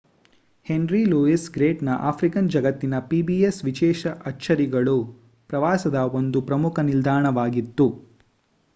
henry Louis ಗೇಟ್ಸ್‌ನ African ಜಗತ್ತಿನ pbs ವಿಶೇಷ ಅಚ್ಚರಿಗಳು ಪ್ರವಾಸದ ಒಂದು ಪ್ರಮುಖ ನಿಲ್ದಾಣವಾಗಿತ್ತು